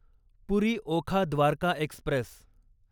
पुरी Okha Dwarka Express